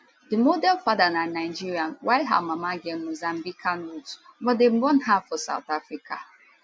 di model father na nigerian while her mama get mozambican roots but dem born her for south africa